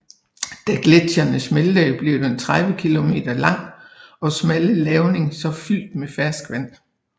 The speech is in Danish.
Da gletsjerne smeltede blev den 30 km lange og smalle lavning så fyldt med ferskvand